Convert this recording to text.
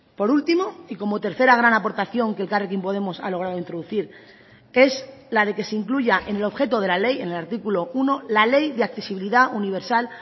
por último y como tercera gran aportación que elkarrekin podemos ha logrado introducir es la de que se incluya en el objeto de la ley en el artículo uno la ley de accesibilidad universal